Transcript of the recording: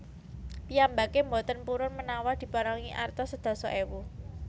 Piyambake mboten purun menawa diparingi arta sedasa ewu